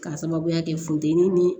K'a sababuya kɛ funteni ni